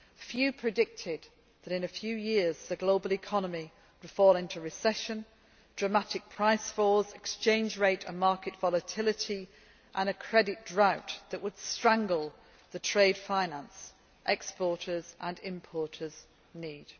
Few predicted that in a few years the global economy would fall into recession, with dramatic price falls, exchange rate and market volatility and a credit drought that would strangle the trade finance that exporters and importers need.